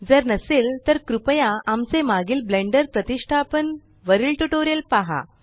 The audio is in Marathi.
जर नसेल तर कृपया आमचे मागील ब्लेण्डर प्रतीष्टापन वरील ट्यूटोरियल पहा